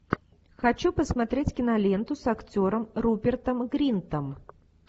хочу посмотреть киноленту с актером рупертом гринтом